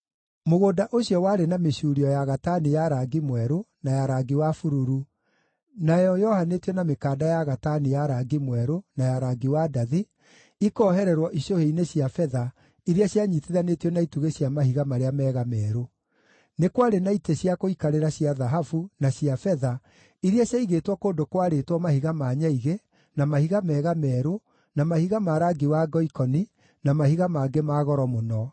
Mũgũnda ũcio warĩ na mĩcuurio ya gatani ya rangi mwerũ na ya rangi wa bururu, nayo yohanĩtio na mĩkanda ya gatani ya rangi mwerũ na ya rangi wa ndathi, ikoohererwo icũhĩ-inĩ cia betha iria cianyiitithanĩtio na itugĩ cia mahiga marĩa mega merũ. Nĩ kwarĩ na itĩ cia gũikarĩra cia thahabu na cia betha iria ciaigĩtwo kũndũ kwarĩtwo mahiga ma nyaigĩ, na mahiga mega merũ, na mahiga ma rangi wa ngoikoni, na mahiga mangĩ ma goro mũno.